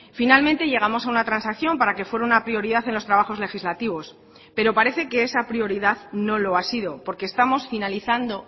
finalmente llegamos a una transacción para que fuera una prioridad en los trabajos legislativos pero parece que esa prioridad no lo ha sido porque estamos finalizando